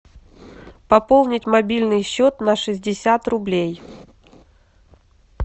пополнить мобильный счет на шестьдесят рублей